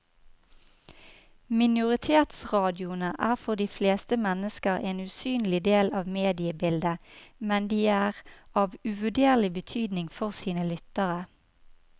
Minoritetsradioene er for de fleste mennesker en usynlig del av mediebildet, men de er av uvurderlig betydning for sine lyttere.